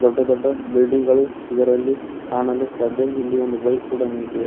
ದೊಡ್ಡ ದೊಡ್ಡ ಬಿಲ್ಡಿಂಗ್ ಗಳು ಇದರಲ್ಲಿ ಕಾಣಲು ಸಾಧ್ಯ ಇಲ್ಲಿ ಒಂದು ಬೈಕ್ ಕೂಡ ನಿಂತಿದೆ.